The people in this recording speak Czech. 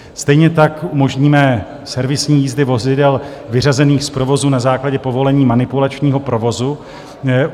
Stejně tak umožníme servisní jízdy vozidel vyřazených z provozu na základě povolení manipulačního provozu.